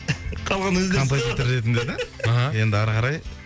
қалғанын өздері композитор ретінде да аха енді ары қарай